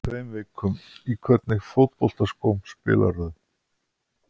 Fyrir tveim vikum Í hvernig fótboltaskóm spilarðu?